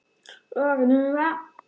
Ertu svona syfjuð?